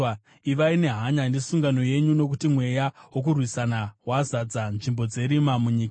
Ivai nehanya nesungano yenyu, nokuti mweya wokurwisana wazadza nzvimbo dzerima munyika.